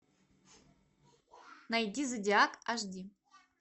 найди зодиак аш ди